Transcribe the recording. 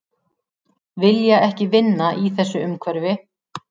Vilja ekki vinna í þessu umhverfi